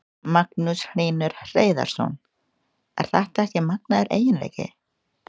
Magnús Hlynur Hreiðarsson: Er þetta ekki magnaður eiginleiki?